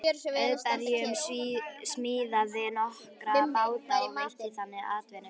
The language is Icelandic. Auðbergur smíðaði nokkra báta og veitti þannig atvinnu.